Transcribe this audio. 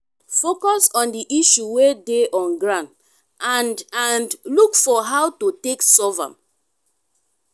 focus on di issue wey de on ground and and look for how to take solve am